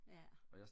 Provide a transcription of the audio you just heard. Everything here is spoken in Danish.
ja